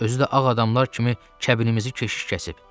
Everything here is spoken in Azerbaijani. Özü də ağa adamlar kimi kəbinimizi keşiş kəsib.